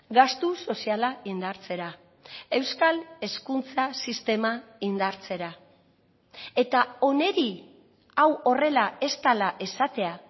gastu soziala indartzera euskal hezkuntza sistema indartzera eta honi hau horrela ez dela esatea